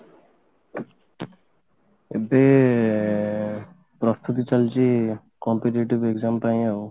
ଏବେ ପ୍ରସ୍ତୁତି ଚାଲିଛି competitive exam ପାଇଁ ଆଉ